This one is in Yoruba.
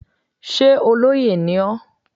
Sé olóyè ni ọ́?